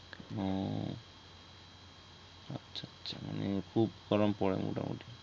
মানে খুব গরম পরে মোটামুটি